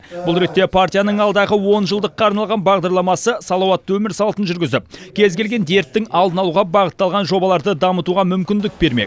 бұл ретте партияның алдағы онжылдыққа арналған бағдарламасы салауатты өмір салтын жүргізіп кез келген дерттің алдын алуға бағытталған жобаларды дамытуға мүмкіндік бермек